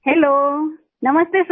hello नमस्ते sir